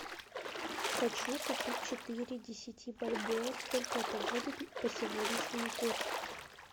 хочу купить четыре десяти бальбоа сколько это будет по сегодняшнему курсу